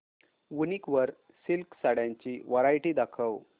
वूनिक वर सिल्क साड्यांची वरायटी दाखव